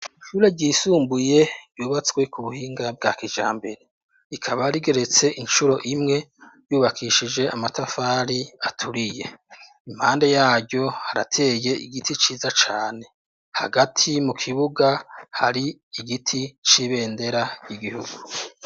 Ishure ryisumbuye ryubatswe ku buhinga bwa kijambere, ikaba rigeretse incuro imwe yubakishije amatafari aturiye, impande yaryo harateye igiti ciza cane hagati mu kibuga hari igiti c'ibendera ry'igihugu.